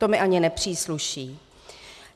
To mi ani nepřísluší.